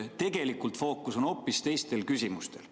Tegelikult fookus on hoopis teistel küsimustel.